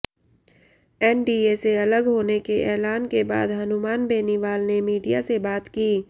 NDA से अलग होने के ऐलान के बाद हनुमान बेनीवाल ने मीडिया से बात की